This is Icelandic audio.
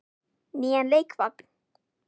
Nýjan leikvang?